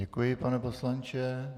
Děkuji, pane poslanče.